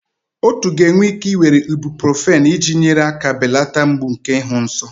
Otu ga-enwe ike ị were Ibuprofen iji nyere aka belata mgbu nke ịhụ nsọ.